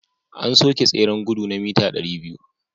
An soke tseren gudu na mita 200